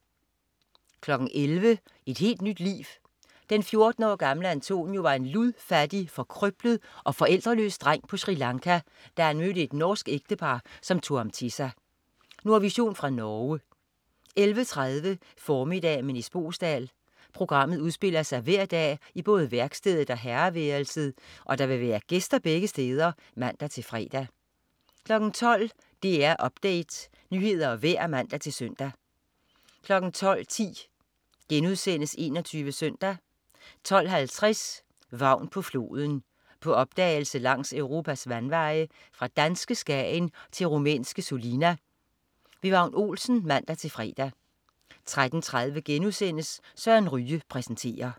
11.00 Et helt nyt liv. Den 14 år gamle Antonio var en ludfattig, forkrøblet og forældreløs dreng på Sri Lanka, da han mødte et norsk ægtepar, som tog ham til sig. Nordvision fra Norge 11.30 Formiddag med Nis Boesdal. Programmet udspiller sig hver dag i både værkstedet og herreværelset, og der vil være gæster begge steder (man-fre) 12.00 DR Update. Nyheder og vejr (man-søn) 12.10 21 SØNDAG* 12.50 Vagn på floden. På opdagelse langs Europas vandveje, fra danske Skagen til rumænske Sulina. Vagn Olsen (man-fre) 13.30 Søren Ryge præsenterer*